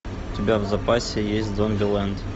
у тебя в запасе есть зомбилэнд